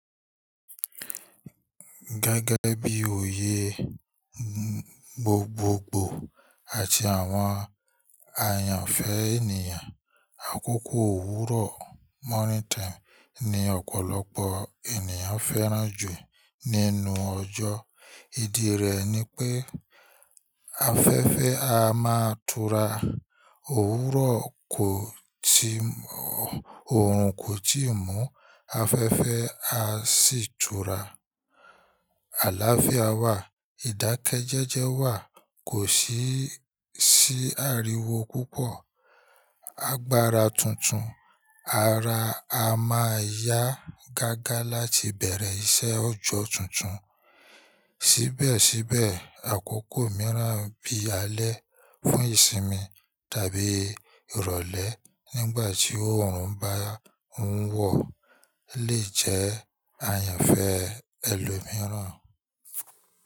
Gẹ́gẹ́ bí oyè gbogbogbò àti àwọn àyànfẹ́ ènìyàn, àkókò òwúrọ̀ morning time ni ọ̀pọ̀lọpọ̀ ènìyàn fẹ́ràn jù nínú ọjọ́. Ìdí rẹ̀ ni pé afẹ́fẹ́ a máa tura, òwúrọ̀ kò tì mọ́, òòrùn kò tíì mú, afẹ́fẹ́ a sì tura. Àlááfíà wà, ìdákẹ́jẹ́jẹ́ wà, kò sí sí ariwo púpọ̀, agbára tuntun, ara a máa yá gágá láti bẹ̀rẹ̀ iṣẹ́ òjò tuntun. Síbẹ̀síbẹ̀, àkókò mìíràn bí alẹ́ fún ìsinmi tàbíi ìrọ̀lẹ́ nígbà tí òòrùn bá ń wọ̀ lè jẹ́ àyànfẹ́ ẹlòmíràn.